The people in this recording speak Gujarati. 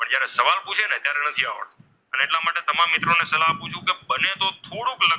લગભગ થોડુક,